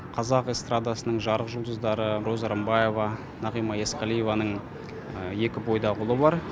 қазақ эстрадасының жарық жұлдыздары роза рымбаева нағима есқалиеваның екі бойдақ ұлы бар